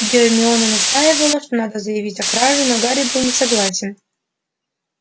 гермиона настаивала что надо заявить о краже но гарри был не согласен